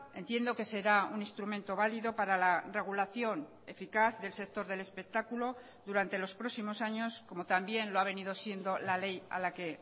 entiendo que será un instrumento válido para la regulación eficaz del sector del espectáculo durante los próximos años como también lo ha venido siendo la ley a la que